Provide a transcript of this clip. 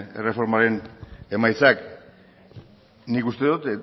erreformaren emaitzak nik uste dut